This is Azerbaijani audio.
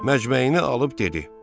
Məcməyini alıb dedi: